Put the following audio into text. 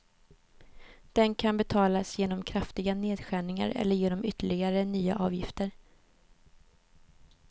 Den kan betalas genom kraftiga nedskärningar eller genom ytterligare nya avgifter.